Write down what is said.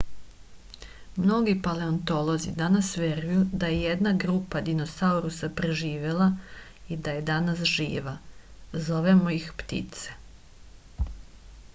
mnogi paleontolozi danas veruju da je jedna grupa dinosaurusa preživela i da je danas živa zovemo ih ptice